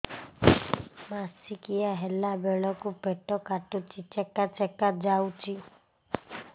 ମାସିକିଆ ହେଲା ବେଳକୁ ପେଟ କାଟୁଚି ଚେକା ଚେକା ଯାଉଚି